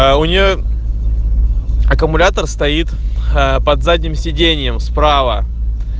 а у нее аккумулятор стоит под задним сиденьем справа